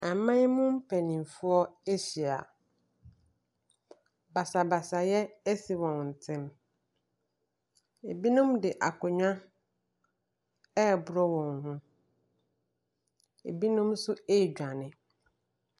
Aman mu mpanimfoɔ ahyia. Basabasayɛ asi wɔn ntam. Ebinom de akonnwa reboro wɔn ho. Ebinom nso redwane.